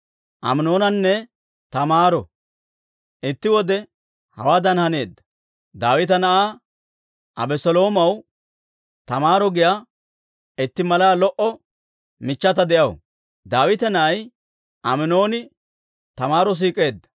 Itti wode hawaadan haneedda. Daawita na'aa Abeseloomaw Taamaaro giyaa itti malaa lo"o michchata de'aw; Daawita na'ay Aminooni Taamaaro siik'eedda.